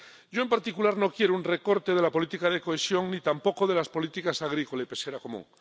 Yo, en particular, no quiero un recorte de la política de cohesión ni tampoco de las políticas agrícola y pesquera común.